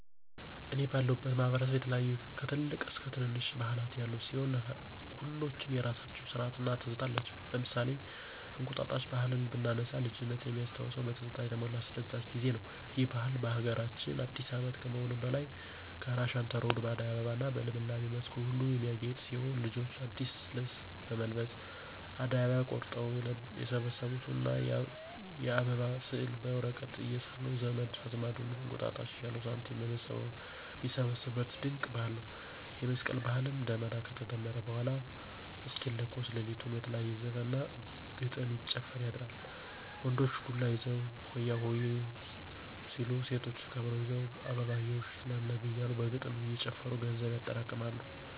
እኔ ባለሁበት ማህበረሰብ የተለያዩ ከትልልቅ እስከ ትነነሽ ባህላት ያሉ ሲሆን ሁሎችም የየራሳቸው ስርአት እና ትዝታ አላቸው። ለምሳሌ እንቁጣጣሽ ባህልን ብናነሳ ልጅነት ሚያስታውስ በትዝታ የተሞላ አስደሳች ጊዜ ነው። ይህ ባህል ለሀገራችን አዲስ አመት ከመሆኑም በላይ ጋራ ሸንተረሩ በአደይ አበባ እና በልምላሜ መስኩ ሁሉ የሚያጌጥ ሲሆን ልጆች አዲስ ልብስ በመልበስ አደይ አበባ ቆርጠው የሰበሰቡትን እና የአበባ ስዕል በወረቀት እየሳሉ ዘመድ አዝማዱን እንቁጣጣሽ እያሉ ሳንቲም ሚሰበስቡት ድንቅ ባህል ነው። የመስቀል ባህልም ደመራ ከተደመረ በኃላ እስኪለኮስ ለሊቱን በተለያየ ዘፈን እና ግጥም ሲጨፈር ያድራል። ወንዶች ዱላ ይዘው ሆያሆየ... ሆ ሲሉ ሴቶች ከበሮ ይዘው አበባየሁሽ ለምለም እያሉ በግጥም እየጨፈሩ ገንዘብ ያጠራቅማሉ።